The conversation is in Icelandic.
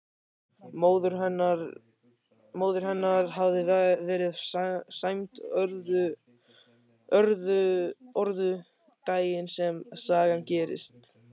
Móðir hennar hafði verið sæmd orðu daginn sem sagan gerist.